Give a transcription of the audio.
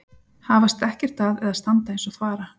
Hafast ekkert að eða standa eins og þvara.